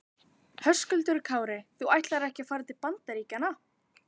Höskuldur Kári: Þú ætlar ekki að fara til Bandaríkjanna?